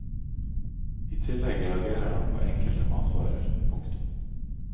I tillegg reagerer han på enkelte matvarer. punktum